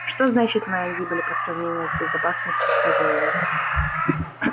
что значит моя гибель по сравнению с безопасностью хозяина